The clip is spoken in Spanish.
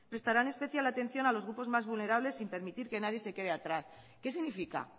prestarán especial atención a los grupos más vulnerables sin permitir que nadie se quede atrás qué significa